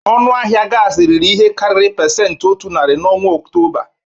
Ọnụ ahịa gas riri ihe karịrị pesenti otu narị n'ọnwa ọktoba.